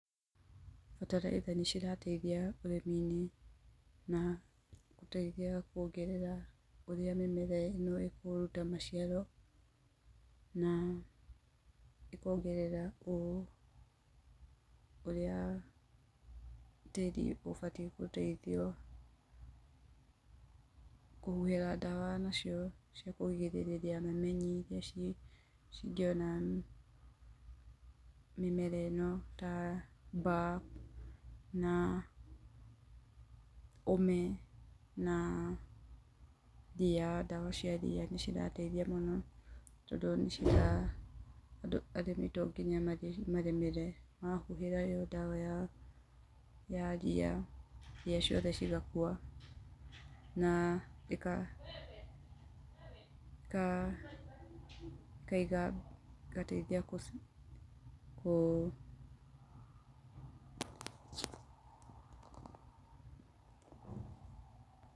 Bataraitha nĩ cirateithia ũrĩmi-inĩ, na gũteithia kuongerera ũrĩa mĩmera ĩno ĩkũruta maciaro na, ĩkongerera ũ, ũrĩa tĩri ũbatiĩ gũteithio, kũhuhĩra ndawa nacio cia kũrigĩrĩria mamenyi iria ciĩ, cingĩona mĩmera ĩno ta, mbaa, na ũme, na ria, ndawa cia ria nĩ cirateithia mũno tondu nĩ cira, tondũ arĩmi to nginya marĩmĩre. Mahuhĩra ĩyo ndawa ya ria, ria ciothe cigakua, na, ĩgateithia gũciũraga.